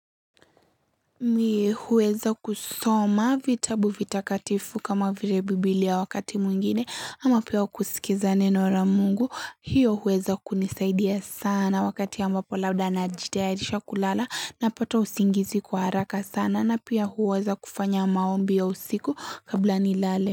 Mi huweza kusoma vitabu vitakatifu kama vile bibilia wakati mwingine ama pia kusikiza neno la mungu hiyo huweza kunisaidia sana wakati ambapo labda najitayarisha kulala napata usingizi kwa haraka sana na pia huweza kufanya maombi ya usiku kabla nilale.